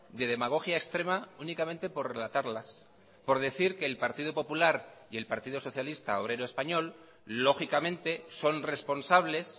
de demagogia extrema únicamente por relatarlas por decir que el partido popular y el partido socialista obrero español lógicamente son responsables